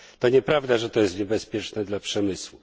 To nieprawda, że to jest niebezpieczne dla przemysłu.